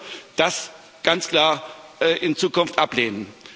Deshalb müssen wir das ganz klar in Zukunft ablehnen.